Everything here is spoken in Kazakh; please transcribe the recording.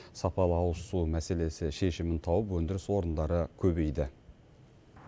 сапалы ауызсу мәселесі шешімін тауып өндіріс орындары көбейді